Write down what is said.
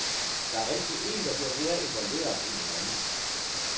Der er altid en, der bliver mere involveret end den anden.